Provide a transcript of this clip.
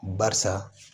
Barisa